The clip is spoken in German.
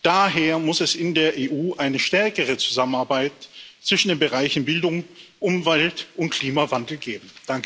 Daher muss es in der EU eine stärkere Zusammenarbeit zwischen den Bereichen Bildung, Umwelt und Klimawandel geben.